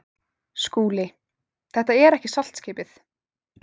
SKÚLI: Þetta er ekki saltskipið.